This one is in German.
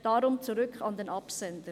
Deshalb: zurück an den Absender!